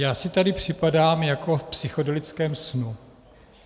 Já si tady připadám jako v psychedelickém snu.